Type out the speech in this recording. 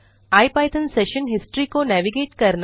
IPython session history को navigate करना